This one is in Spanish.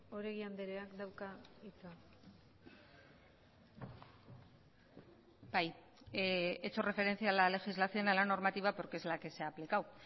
oregi andreak dauka hitza bai he hecho referencia a la legislación a la normativa porque es la que se ha aplicado